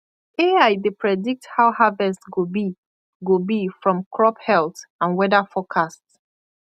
ai dey predict how harvest go be go be from crop health and weather forecast